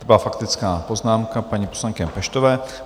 To byla faktická poznámka paní poslankyně Peštové.